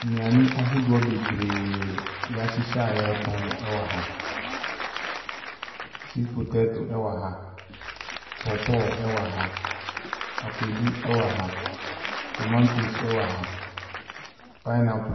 Nnuane ahodoɔ bebree a wɔahyehyɛ a wɔretɔn wɔ ha. Sweet potato wɔ ha, pawpaw wɔ ha, akwadu wɔ ha, tomantos wɔ ha, pinneaple .